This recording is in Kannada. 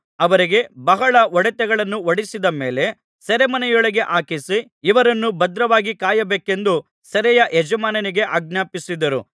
ಅವರಿಗೆ ಬಹಳ ಹೊಡೆತಗಳನ್ನು ಹೊಡಿಸಿದ ಮೇಲೆ ಸೆರೆಮನೆಯೊಳಗೆ ಹಾಕಿಸಿ ಇವರನ್ನು ಭದ್ರವಾಗಿ ಕಾಯಬೇಕೆಂದು ಸೆರೆಯ ಯಜಮಾನನಿಗೆ ಆಜ್ಞಾಪಿಸಿದರು